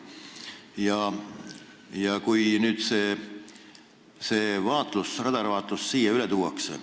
Ja kui nüüd veel see radarvaatlus siia üle tuuakse ...